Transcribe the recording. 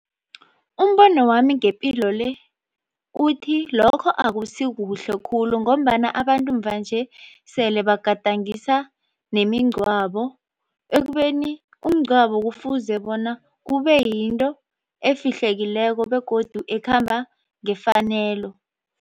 Umbono wami ngepilo le uthi lokho akusikuhle khulu ngombana abantu mvanje sele bagadangisa nemingcwabo ekubeni umngcwabo kufuze bona kube yinto efihlekileko begodu ekhamba ngefanelo.